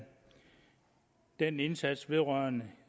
den indsats vedrørende